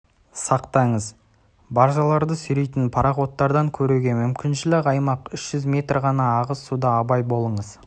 сақтаңыз баржаларды сүйрейтін пороходтан көруге мүмкіншілік аймақ үш жүз метр ғана ағыс суда абай болыңыз